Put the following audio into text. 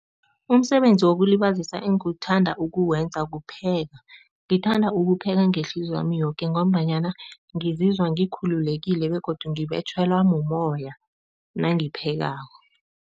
Umsebenzi wokulibazisa engiwuthanda ukuwenza kupheka. Ngithanda ukupheka ngehliziywami yoke ngombanyana ngizizwa ngikhululekile begodu ngibetjhelwa mumoya nangiphekako.